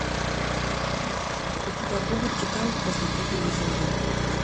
у тебя будет титан после гибели земли